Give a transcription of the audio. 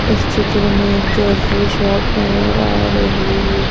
इस चित्र में एक ज्वेलरी शॉप नजर आ रही है।